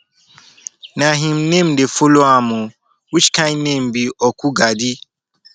na im name dey follow am oo which kin name be okwugadi